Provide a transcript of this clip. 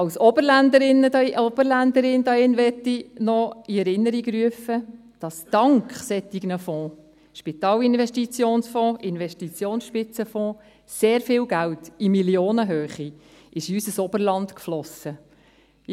Als Oberländerin hier drinnen möchte ich noch in Erinnerung rufen, dass dank solcher Fonds – SIF, Investitionsspitzenfonds – sehr viel Geld in Millionenhöhe in unser Oberland geflossen ist.